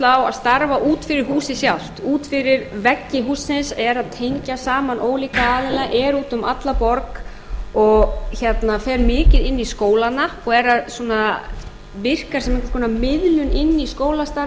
að starfa út yfir húsið sjálft út fyrir veggi hússins eða tengja saman ólíka aðila er út um alla borg og fer mikið inn í skólana og er að virka sem einhvers konar miðlun inn í skólastarf